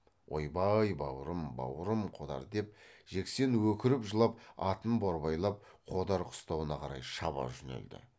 ойбай бауырым бауырым қодар деп жексен өкіріп жылап атын борбайлап қодар қыстауына қарай шаба жөнелді